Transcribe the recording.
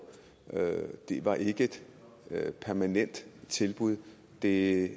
det var ikke et permanent tilbud det